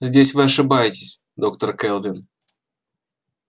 здесь вы ошибаетесь доктор кэлвин